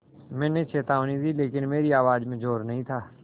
मैंने चेतावनी दी लेकिन मेरी आवाज़ में ज़ोर नहीं था